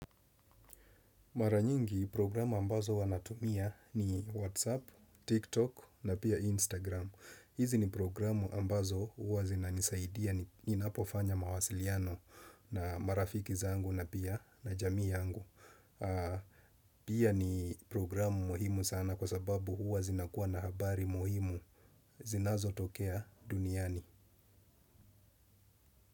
Maranyingi programu ambazo wanatumia ni Whatsapp, TikTok na pia Instagram. Hizi ni programu ambazo huwa zinanisaidia ninapofanya mawasiliano na marafiki zangu na pia na jamii yangu. Pia ni programu muhimu sana kwa sababu huwa zinakuwa na habari muhimu zinazotokea duniani.